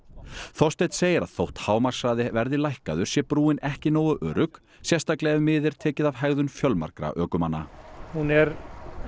Þorsteinn segir að þótt hámarkshraði verði lækkaður sé brúin ekki nógu örugg sérstaklega ef mið er tekið af hegðun fjölmargra ökumanna hún er